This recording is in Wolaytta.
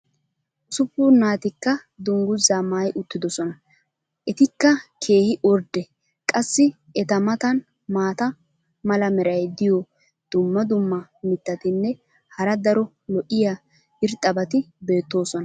ussuppun naatikka dangguzaa maayi uttidosona. etikka keehi ordde qassi eta matan maata mala meray diyo dumma dumma mitatinne hara daro lo'iya irxxabati beetoosona.